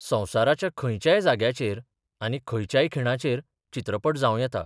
संसाराच्या खयच्याय जाग्याचेर आनी खयच्याय खिणाचेर चित्रपट जाव येता.